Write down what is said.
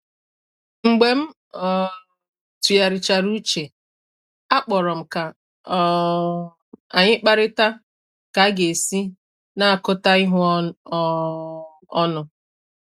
Mgbe m um tụgharichara uche, akpọrọ m ka um anyị kparịta ka aga-esi na akota ihu um ọnụ